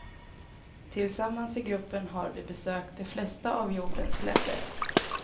Tillsammans i gruppen har vi besökt de flesta av jordens länder.